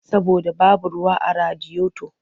Saboda babu ruwa a radiyoto.